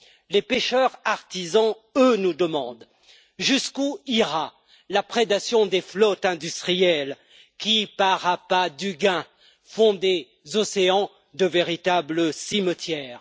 Les pêcheurs artisans, eux, nous demandent jusqu'où ira la prédation des flottes industrielles qui, par appât du gain, font des océans de véritables cimetières.